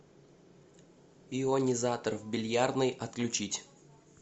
ионизатор в бильярдной отключить